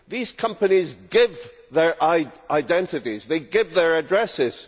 These companies give their identities and they give their addresses.